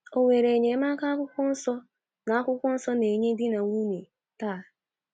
O nwere enyemaka akwukwọnso na - akwukwọnso na - enye ndị di na nwunye taa?